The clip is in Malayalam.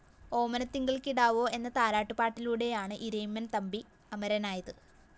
ഓമനത്തിങ്കള്‍ കിടാവോ എന്ന താരാട്ടുപാടിലൂടെയാണ് ഇരയിമ്മന്‍ തമ്പി അമരനായത്